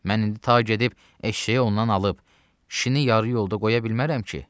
Mən indi ta gedib eşşəyi ondan alıb, kişini yarı yolda qoya bilmərəm ki.